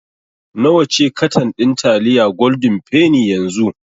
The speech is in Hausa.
Nawa ce katan ɗin taliyar Golden penny yanzu?